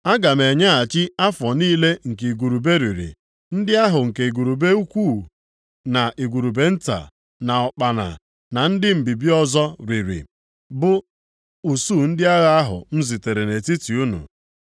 “Aga m enyeghachi afọ niile nke igurube riri, ndị ahụ nke igurube ukwu na igurube nta, na ụkpana, na ndị mbibi ọzọ riri, bụ usuu ndị agha ahụ m zitere nʼetiti unu.